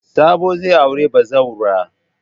Sabo zai auri bazawara.